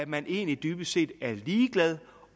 man egentlig dybest set er ligeglad